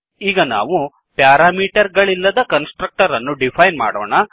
ಈಗ ನಾವು ಪ್ಯಾರಾಮೀಟರ್ ಗಳಿಲ್ಲದ ಕನ್ಸ್ ಟ್ರಕ್ಟರ್ ಅನ್ನು ಡಿಫೈನ್ ಮಾಡೋಣ